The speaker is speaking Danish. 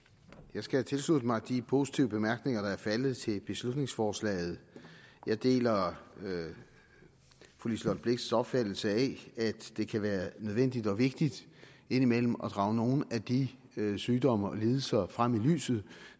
jeg skal tilslutte mig de positive bemærkninger der er faldet til beslutningsforslaget jeg deler fru liselott blixts opfattelse af at det kan være nødvendigt og vigtigt indimellem at drage nogle af de sygdomme og lidelser frem i lyset